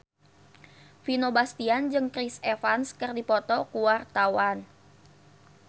Vino Bastian jeung Chris Evans keur dipoto ku wartawan